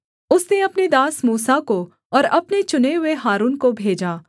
उसने अपने दास मूसा को और अपने चुने हुए हारून को भेजा